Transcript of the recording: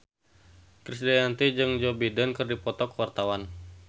Krisdayanti jeung Joe Biden keur dipoto ku wartawan